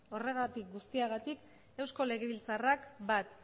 horregatik guztiagatik eusko legebiltzarrak bat